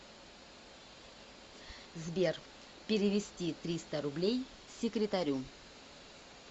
сбер перевести триста рублей секретарю